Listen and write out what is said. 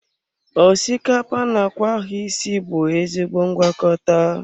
Osikapa na akwa ahụ isi bụ ezigbo ngwakọta.